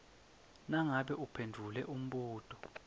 nangabe uphendvule umbuto